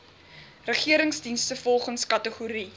regeringsdienste volgens kategorie